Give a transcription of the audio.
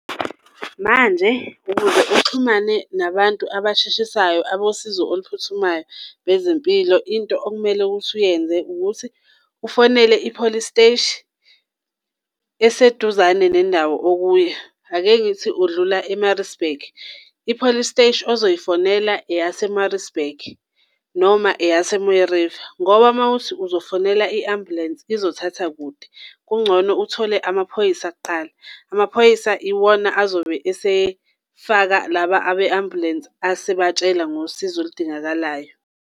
Manje ukuze uxhumane nabantu abasheshisayo abosizo oluphuthumayo bezempilo. Into okumele ukuthi uyenze ukuthi ufonele ipolisi siteshi eseduzane nendawo okuyo. Ake ngithi udlula e-Maritzburg, ipolisi siteshi ozoyifonela eyase-Maritzburg noma eyase-Mooi River. Ngoba uma uthi uzofonela i-ambulensi izothatha kude, kungcono uthole amaphoyisa kuqala. Amaphoyisa iwona azobe esefaka laba abe-ambulensi asebatshela ngosizo oludingakalayo.